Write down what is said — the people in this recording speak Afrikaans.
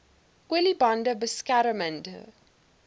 olie bande beskermende